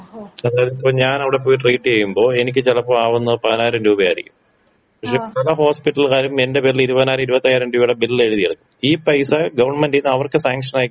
ഇപ്പൊ ഞാനവിടെ പോയി ട്രീറ്റിയ്യുമ്പൊ എനിക്ക് ചിലപ്പോ ആവുന്നത് പതിനായിരം രൂപയായിരിക്കും പക്ഷെ അത് ഹോസ്പിറ്റല്ക്കാരും എന്റെ പേരില് ഇരുവതിനായിരം ഇരുവത്തയ്യായിരം രൂപേടെ ബില്ലെഴുതി എടുക്കും ഈ പൈസ ഗവൺമെന്റീന്ന് അവർക്ക് സാങ്ഷനായി കിട്ടും.